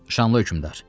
Şanlı hökmdar!